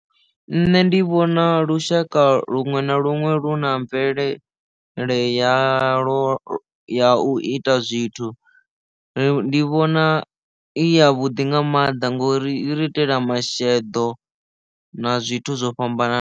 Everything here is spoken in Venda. Nṋe ndi vhona lushaka luṅwe na luṅwe lu na mvelele ya lwo ya u ita zwithu ri ndi vhona i ya vhuḓi nga maanḓa ngori i ri itela masheḓo na zwithu zwo fhambananaho.